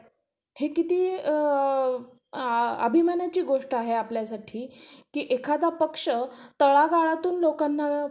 म्हणजे आपण पण कमावतो, आपण पण एवढं hardwork करतो. का? आपले लेकरं चांगल्या शाळेत जावे. अन म्हणजे आपण पण शिकलेलो आसोल~ आसल तर.